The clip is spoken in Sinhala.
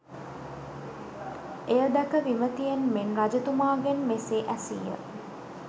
එය දැක විමතියෙන් මෙන් රජතුමාගෙන් මෙසේ ඇසීය